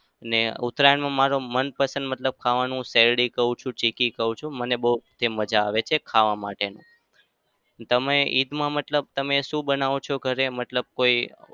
ને ઉતરાયણમાં મારું મનપસંદ મતલબ ખાવાનું શેરડી ખાઉં છું, ચીક્કી ખાઉં છું. મને બઉ તે મજા આવે છે ખાવા માટે. તમે ઈદ મા મતલબ તમે શું બનાવો છો ઘરે? મતલબ કોઈ